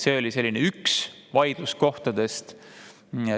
See oli üks vaidluskohti.